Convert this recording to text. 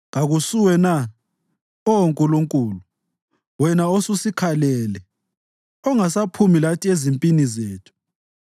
Kakusuwe na, Oh Nkulunkulu, wena osusikhalele, ongasaphumi lathi ezimpini zethu?